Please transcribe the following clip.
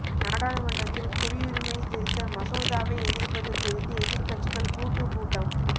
நாடாளுமன்றத்தில் குடியுரிமை திருத்த மசோதாவை எதிர்ப்பது குறித்து எதிர்க்கட்சிகள் கூட்டுக் கூட்டம்